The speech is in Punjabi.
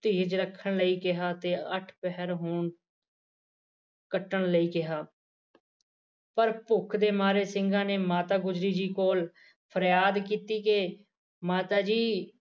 ਧੀਰਜ ਰੱਖਣ ਲਈ ਕਿਹਾ ਤੇ ਅੱਠ ਪਹਿਰ ਹੋਣ ਕੱਟਣ ਲਈ ਕਿਹਾ ਪਰ ਭੁੱਖ ਦੇ ਮਾਰੇ ਸਿੰਘਾ ਨੇ ਮਾਤਾ ਗੁਜਰੀ ਜੀ ਕੋਲ ਫਰਿਆਦ ਕੀਤੀ ਕਿ ਮਾਤਾ ਜੀ